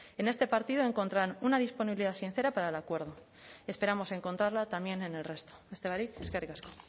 en este partido encontrarán una disponibilidad sincera para el acuerdo esperamos encontrarla también en el resto beste barik eskerrik asko